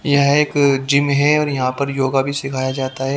यह एक जिम है और यहां पर योगा भी सिखाया जाता है।